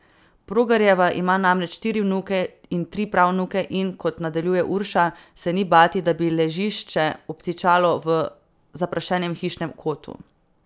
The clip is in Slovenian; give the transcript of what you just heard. Progarjeva ima namreč štiri vnuke in tri pravnuke in, kot nadaljuje Urša, se ni bati, da bi ležišče obtičalo v zaprašenem hišnem kotu.